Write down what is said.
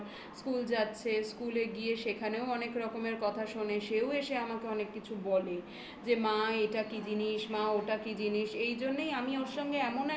school যাচ্ছে school এ গিয়ে সেখানেও অনেক রকমের কথা শোনে. সেও এসে আমাকে অনেক কিছু বলে এটা কি জিনিস মা ওটা কি জিনিস এই জন্যই আমি ওর সঙ্গে এমন একটা সম্পর্ক